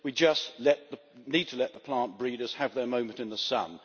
We just need to let the plant breeders have their moment in the sun.